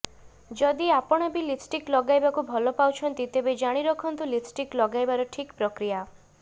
ଯଦି ଆପଣ ବି ଲିପଷ୍ଟିକ ଲଗାଇବାକୁ ଭଲ ପାଉଛନ୍ତି ତେବେ ଜାଣି ରଖନ୍ତୁ ଲିପଷ୍ଟିକ ଲଗାଇବାର ଠିକ ପ୍ରକ୍ରିୟା